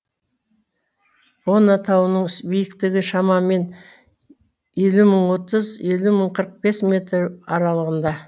бона тауының биіктігі шамамен елу мың отыз елу мың қырық бес метр аралығында